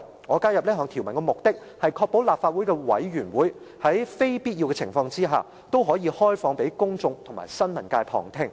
我加入這條文的目的，是要確保立法會的委員會如非必要，均應開放給公眾及新聞界旁聽。